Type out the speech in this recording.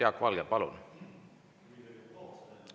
Jaak Valge, palun!